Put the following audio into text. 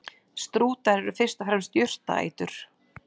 Strútar eru fyrst og fremst jurtaætur.